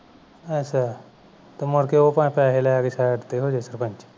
ਅਛਾ ਤੇ ਮੁੜ ਕੇ ਉਹ ਪੈਸੇ ਲੈ ਕੇ side ਤੇ ਹੋਜਾਵੇ ਸਰਪੰਚ